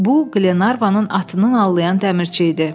Bu, Glenarvanın atının allayan dəmirçi idi.